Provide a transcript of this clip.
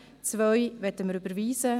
Die Ziffer 2 möchten wir überweisen.